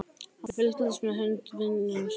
Hann fylgdist með hönd vinar síns.